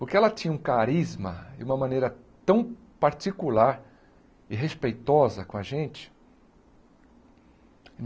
Porque ela tinha um carisma e uma maneira tão particular e respeitosa com a gente.